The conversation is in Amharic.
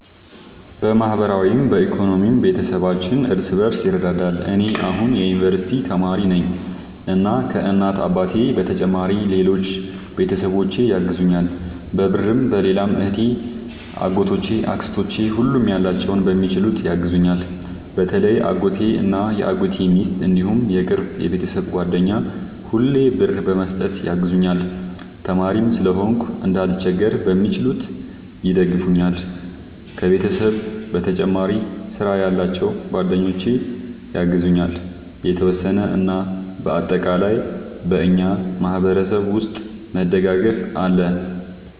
በማህበራዊም በኢኮኖሚም ቤተሰባችን እርስ በርስ ይረዳዳል። እኔ አሁን የዩንቨርስቲ ተማሪ ነኝ እና ከ እናት አባቴ በተጨማሪ ሌሎች ቤተሰቦቼ ያግዙኛል በብርም በሌላም እህቴ አጎቶቼ አክስቶቼ ሁሉም ያላቸውን በሚችሉት ያግዙኛል። በተለይ አጎቴ እና የአጎቴ ሚስት እንዲሁም የቅርብ የቤተሰብ ጓደኛ ሁሌ ብር በመስጠት ያግዙኛል። ተማሪም ስለሆንኩ እንዳልቸገር በሚችሉት ይደግፈኛል። ከቤተሰብ በተጨማሪ ስራ ያላቸው ጓደኞቼ ያግዙኛል የተወሰነ። እና በአጠቃላይ በእኛ ማህበረሰብ ውስጥ መደጋገፍ አለ